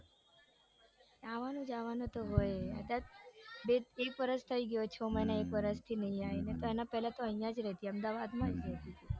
આવાનું જવાનું તો હોય એક વરસ થઇ ગયું છ મહિના એક વરસ થી નઈ આવી નઈતર એના પેલા તો આઇયા જ રેતી અમદાવાદમાં જ રેતી તી.